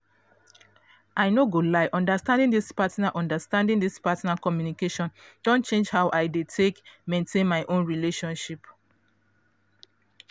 i no go lie understanding this partner understanding this partner communication don change how i dey take maintain my own relationships.